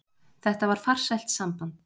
Þetta var farsælt samband.